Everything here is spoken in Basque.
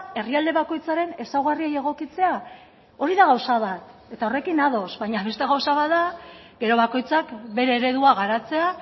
herrialde bakoitzaren ezaugarriei egokitzea hori da gauza bat eta horrekin ados baina beste gauza bat da gero bakoitzak bere eredua garatzea